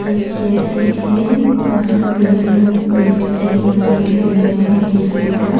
एक कैफ़े हैं जहां पे लोग बैठ के मजे ले रहे हैं कैफे का।